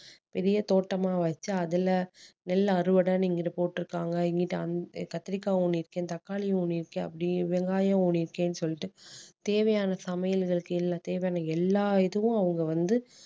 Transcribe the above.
பெரிய தோட்டமா வச்சு அதுல நெல் அறுவடை இங்கிட்டு போட்டிருக்காங்க இங்கிட்டு அங்க கத்திரிக்காவும் ஊனிருக்கேன் தக்காளியும் ஊனிருக்கேன் அப்படி வெங்காயம் ஊனிருக்கேன்னு சொல்லிட்டு தேவையான சமையல் இதற்கு எல்லா~தேவையான எல்லா item உம் அவங்க வந்து